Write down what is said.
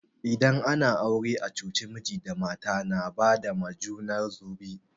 Idan ana aure a coci, miji da mata na ba ma junar su zobe.